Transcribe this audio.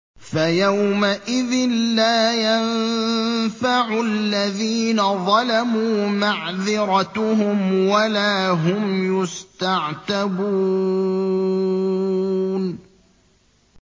فَيَوْمَئِذٍ لَّا يَنفَعُ الَّذِينَ ظَلَمُوا مَعْذِرَتُهُمْ وَلَا هُمْ يُسْتَعْتَبُونَ